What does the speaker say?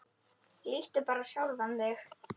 Líttu bara á sjálfan þig.